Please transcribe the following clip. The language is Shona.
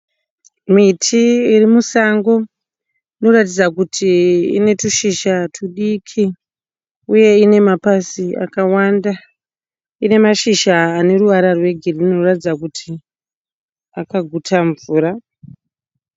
Miti iri musango inoratidza kuti ine tushizha tudiki uye ine mapazi akawanda ine mashizha ane ruvara rwegirini rwunoratidza kuti akaguta mvura.